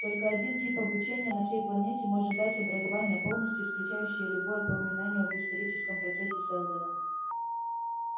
только один тип обучения на всей планете может дать образование полностью исключающее любое упоминание об историческом процессе сэлдона